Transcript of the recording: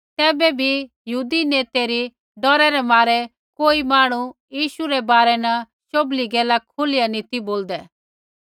तैबै भी यहूदी नेतै री डौरे रै मारै कोई मांहणु यीशु रै बारै न शोभली गैला खुलिया नैंई ती बोलदै